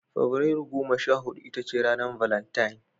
Fabrairu goma sha huɗu ita ce ranar Valantine